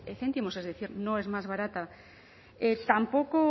céntimos es decir no es más barata tampoco